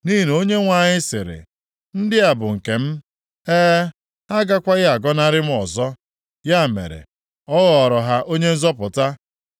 Nʼihi na Onyenwe anyị sịrị, “Ndị a bụ nke m; e, ha agakwaghị agọnarị m ọzọ.” Ya mere, ọ ghọọrọ ha Onye nzọpụta.